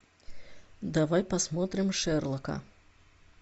давай посмотрим шерлока